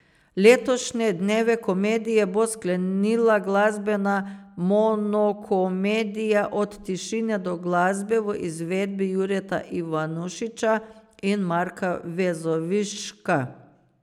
Letošnje Dneve komedije bo sklenila glasbena monokomedija Od tišine do glasbe v izvedbi Jureta Ivanušiča in Marka Vezoviška.